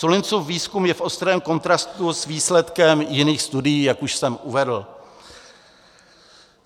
Sullinsův výzkum je v ostrém kontrastu s výsledkem jiných studií, jak už jsem uvedl.